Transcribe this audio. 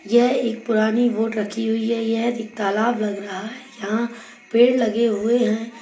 यह एक पुरानी बोट रखी हुई है यह एक तालाब लग रहा है यहाँ पेड़ लगे हुए हैं।